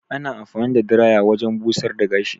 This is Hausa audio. Ana anfani da diraya wajen busar da gashi.